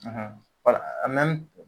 wala a mɛn